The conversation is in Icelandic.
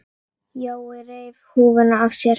Jói reif húfuna af sér.